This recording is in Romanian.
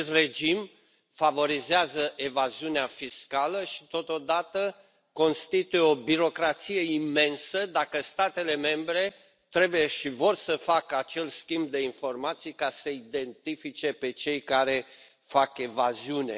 Acest regim favorizează evaziunea fiscală și, totodată, constituie o birocrație imensă dacă statele membre trebuie și vor să facă acel schimb de informații ca să i identifice pe cei care fac evaziune.